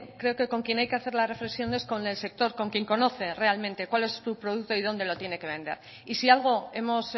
creo que con quien hay que hacer la reflexión es con el sector con quien conoce realmente cuál es su producto y dónde lo tiene que vender y si algo hemos